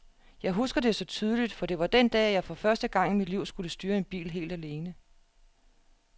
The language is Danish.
Jeg husker det så tydeligt, for det var den dag, at jeg for første gang i mit liv skulle styre en bil helt alene.